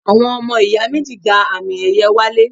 Àwọn ọmọ ìyá méjì gba àmì ẹ̀yẹ wálé